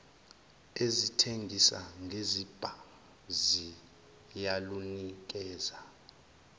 ezithengisa ngezibhamu ziyalunikeza